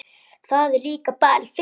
Það er líka bara fyndið.